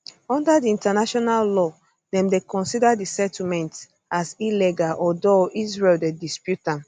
under di international law dem dey consider di settlements um as illegal although israel dey dispute am